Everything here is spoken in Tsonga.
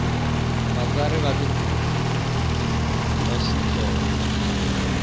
vatsari va tibuku ta xitsonga